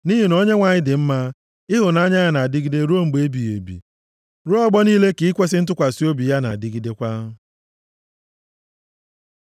Nʼihi na Onyenwe anyị dị mma, ịhụnanya ya na-adịgide ruo mgbe ebighị ebi. Ruo ọgbọ niile ka ikwesi ntụkwasị obi ya na-adịgidekwa.